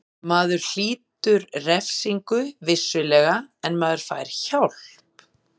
Maður hlýtur refsingu, vissulega, en maður fær hjálp.